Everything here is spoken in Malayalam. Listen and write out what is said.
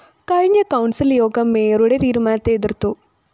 കഴിഞ്ഞ കൗണ്‍സില്‍ യോഗം മേയറുടെ തീരുമാനത്തെ എതിര്‍ത്തു